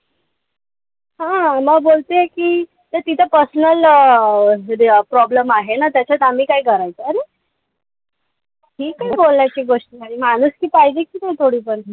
हा म बोलते कि ते तीच personal problem आहे. त्याच्यात आम्ही काय करायचं. अरे, हि काय बोलायची गोष्ट झाली. माणुसकी पाहिजे कि नाई थोडीफार?